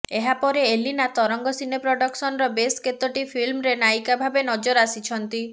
ଏହାପରେ ଏଲିନା ତରଙ୍ଗ ସିନେ ପ୍ରଡକସନ୍ର ବେଶ୍ କେତୋଟି ଫିଲ୍ମରେ ନାୟିକା ଭାବେ ନଜର ଆସିଛନ୍ତି